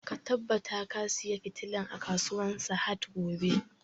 Ka tabbata ka saya fitilan a kasuwan sahad gobe!